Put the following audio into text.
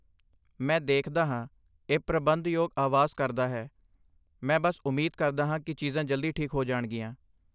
ਮੈਂ ਦੇਖਦਾ ਹਾਂ, ਇਹ ਪ੍ਰਬੰਧ ਯੋਗ ਆਵਾਜ਼ ਕਰਦਾ ਹੈ, ਮੈਂ ਬਸ ਉਮੀਦ ਕਰਦਾ ਹਾਂ ਕਿ ਚੀਜ਼ਾਂ ਜਲਦੀ ਠੀਕ ਹੋ ਜਾਣਗੀਆਂ।